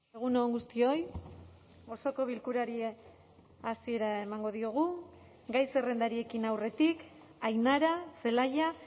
egun on guztioi osoko bilkurari hasiera emango diogu gai zerrendari ekin aurretik ainara zelaia